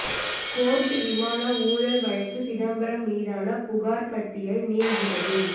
court விமான ஊழல் வழக்கு சிதம்பரம் மீதான புகார் பட்டியல் நீள்கிறது